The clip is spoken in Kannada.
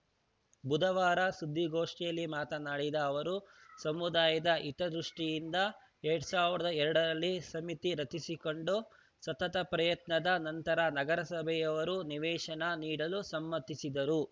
ಬುಧವಾರ ಸುದ್ದಿಗೋಷ್ಠಿಯಲ್ಲಿ ಮಾತನಾಡಿದ ಅವರು ಸಮುದಾಯದ ಹಿತದೃಷ್ಟಿಯಿಂದ ಎರಡ್ ಸಾವಿರದ ಎರಡರಲ್ಲಿ ಸಮಿತಿ ರಚಿಸಿಕೊಂಡು ಸತತ ಪ್ರಯತ್ನದ ನಂತರ ನಗರಸಭೆಯವರು ನಿವೇಶನ ನೀಡಲು ಸಮ್ಮತಿಸಿದರು